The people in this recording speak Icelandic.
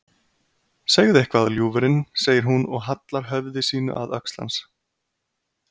Segðu eitthvað, ljúfurinn, segir hún og hallar höfði sínu að öxl hans.